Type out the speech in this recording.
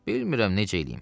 Bilmirəm necə eləyim.